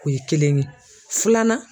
O ye kelen ye filanan